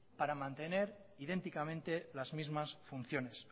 para mantener idénticamente las mismas funciones